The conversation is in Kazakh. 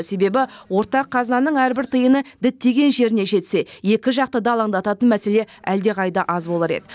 себебі ортақ қазанның әрбір тиыны діттеген жеріне жетсе екі жақты да алаңдататын мәселе әлдеқайда аз болар еді